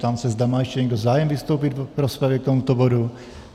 Ptám se, zda má ještě někdo zájem vystoupit v rozpravě k tomuto bodu.